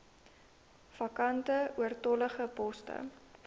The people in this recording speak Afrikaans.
vakante oortollige poste